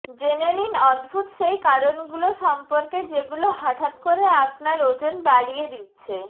জেনে নিন অদ্ভুত সেই কারণগুলো সম্পর্কে যেগুলো হঠাৎ করে আপনার ওজন বাড়িয়ে দিচ্ছে